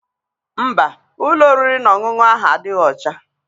Mba, ụlọ oriri na ọṅụṅụ ahụ adịghị ọcha.